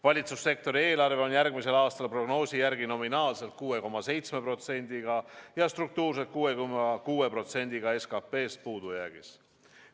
Valitsussektori eelarve on järgmisel aastal prognoosi järgi nominaalselt 6,7%-ga ja struktuurselt 6,6 %-ga SKP-st puudujäägis.